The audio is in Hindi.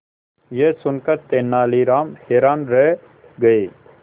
यह सुनकर तेनालीराम हैरान रह गए